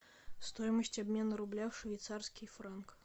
стоимость обмена рубля в швейцарский франк